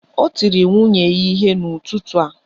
Ọ tiri nwunye ihe n'ụtụtụ a